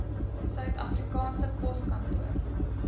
suid afrikaanse poskantoor